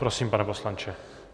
Prosím, pane poslanče.